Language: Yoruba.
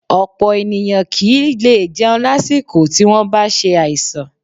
Ọ̀pọ̀ ènìyàn kì í lè jẹun lásìkò tí wọ́n bá ṣe àìsàn